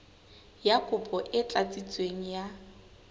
ya kopo e tlatsitsweng ya